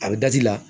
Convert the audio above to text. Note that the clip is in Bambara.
A bɛ la